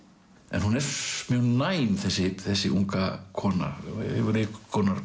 en hún er mjög næm þessi þessi unga kona hefur einhvers konar